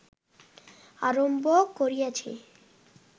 আরম্ভ করিয়াছে